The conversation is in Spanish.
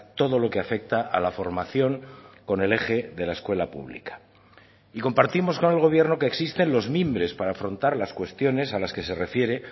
todo lo que afecta a la formación con el eje de la escuela pública y compartimos con el gobierno que existen los mimbres para afrontar las cuestiones a las que se refiere